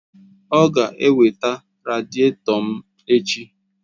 Ọ ga-eweta radịètọ m echi!